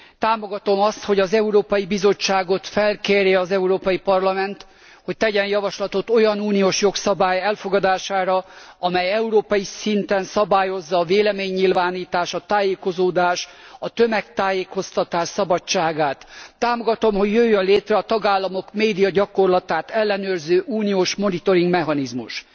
Támogatom azt, hogy az Európai Bizottságot felkérje az Európai Parlament, hogy tegyen javaslatot olyan uniós jogszabály elfogadására, amely európai szinten szabályozza a véleménynyilvánítás, a tájékozódás, a tömegtájékoztatás szabadságát. Támogatom, hogy jöjjön létre a tagállamok médiagyakorlatát ellenőrző uniós monitoringmechanizmus.